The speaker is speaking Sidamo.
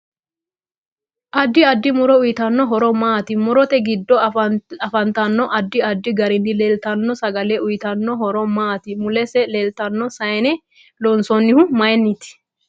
Addi addi muro uyiitano horo maati murote giddo afantanno addi addi gariini leeltanno sagale uyiitanno horo maati mulese leeltano sayiine loonsoonihu mayiiniti